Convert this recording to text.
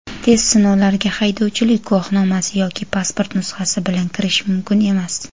Test sinovlariga haydovchilik guvohnomasi yoki pasport nusxasi bilan kirish mumkin emas.